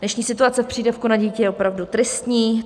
Dnešní situace v přídavku na dítě je opravdu tristní.